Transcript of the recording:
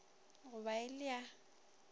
go ba e le ya